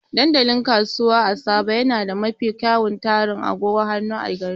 Dandalin Kasuwa a Soba yana da mafi kyawun tarin agogon hannu a garin.